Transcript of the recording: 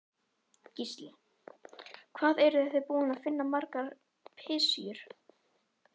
Gísli: Hvað eruð þið búin að finna margar pysjur?